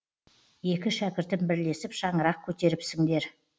екі шәкіртім бірлесіп шаңырақ көтеріпсіңдер